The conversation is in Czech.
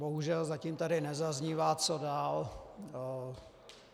Bohužel zatím tady nezaznívá, co dál.